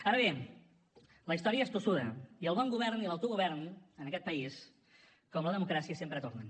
ara bé la història és tossuda i el bon govern i l’autogovern en aquest país com la democràcia sempre tornen